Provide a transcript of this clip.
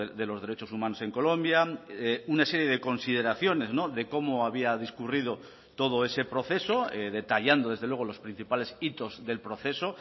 de los derechos humanos en colombia una serie de consideraciones de cómo había discurrido todo ese proceso detallando desde luego los principales hitos del proceso